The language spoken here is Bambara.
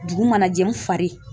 Dugu mana jɛ n fari